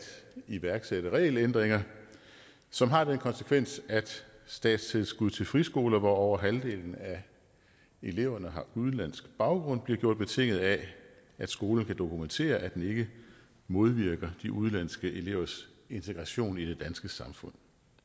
iværksætte regelændringer som har den konsekvens at statstilskuddet til friskoler hvor over halvdelen af eleverne har udenlandsk baggrund bliver gjort betinget af at skolen kan dokumentere at den ikke modvirker de udenlandske elevers integration i det danske samfund